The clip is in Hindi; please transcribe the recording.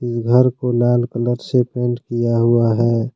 इस घर को लाल कलर से पेंट किंया हुआ है।